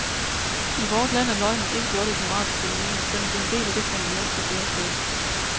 I vort land er løgnen ikke blot et moralsk fænomen, den er blevet en del af det fundament, der bærer staten.